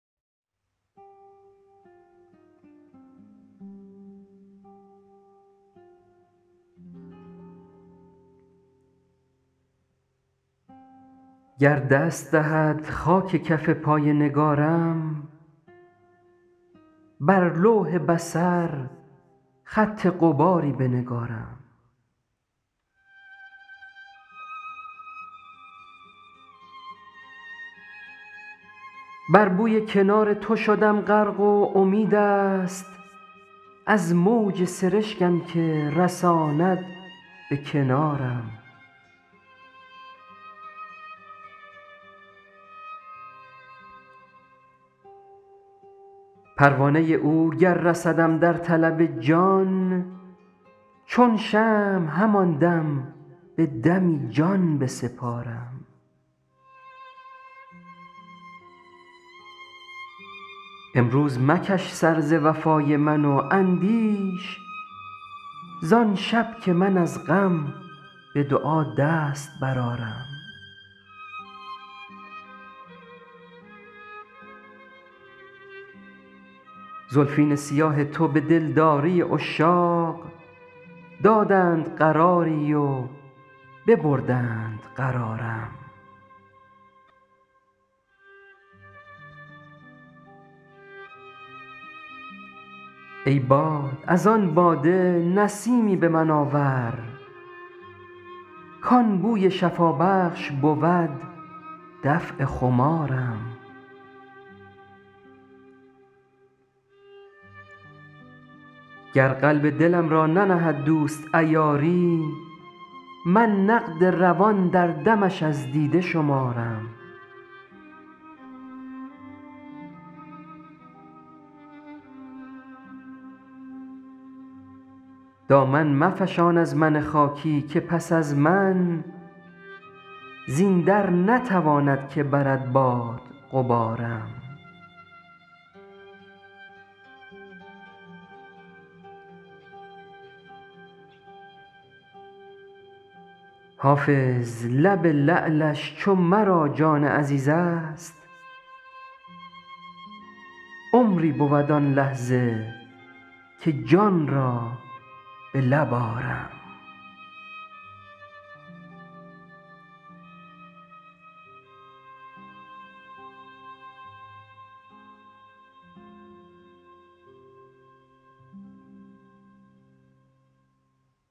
گر دست دهد خاک کف پای نگارم بر لوح بصر خط غباری بنگارم بر بوی کنار تو شدم غرق و امید است از موج سرشکم که رساند به کنارم پروانه او گر رسدم در طلب جان چون شمع همان دم به دمی جان بسپارم امروز مکش سر ز وفای من و اندیش زان شب که من از غم به دعا دست برآرم زلفین سیاه تو به دلداری عشاق دادند قراری و ببردند قرارم ای باد از آن باده نسیمی به من آور کان بوی شفابخش بود دفع خمارم گر قلب دلم را ننهد دوست عیاری من نقد روان در دمش از دیده شمارم دامن مفشان از من خاکی که پس از من زین در نتواند که برد باد غبارم حافظ لب لعلش چو مرا جان عزیز است عمری بود آن لحظه که جان را به لب آرم